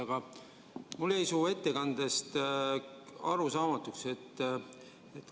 Aga mulle jäi su ettekandest midagi arusaamatuks.